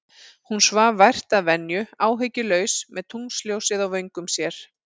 Hún svaf vært að venju, áhyggjulaus, með tunglsljósið á vöngum sér.